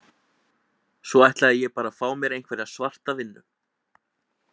Svo ætlaði ég bara að fá mér einhverja svarta vinnu.